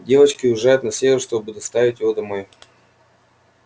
девочки уезжают на север чтобы доставить его домой